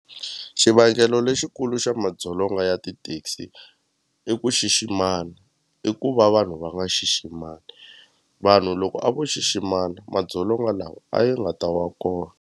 Xivangelo lexikulu xa madzolonga ya ti-taxi i ku xiximana i ku va vanhu va nga xiximani vanhu loko a vo xiximana madzolonga lawa a ya nga ta wa kona.